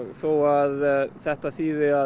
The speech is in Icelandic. þó að þetta þýði